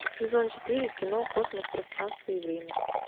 сезон четыре кино космос пространство и время